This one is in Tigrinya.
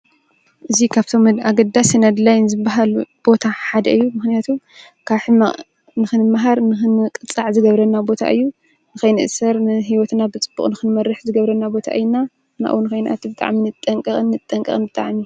እዙይ ኻብቶም ድ ኣገዳ ስነድ ላይን ዝበሃል ቦታ ሓደ እዩ ምኽንያቱ ካሕቕ ንኽንመሃር ንኽን ቕጻዕ ዝገብረና ቦታ እዩ ንኸይንእሠር ን ሕይወትና ብጽቡቕ ንኽንመርሕ ዝገብረና ቦታ እይና ናኡ ንኸይናትብጥዓምኒ ጠንቀቕን ንጠንቀቕን ጠዓም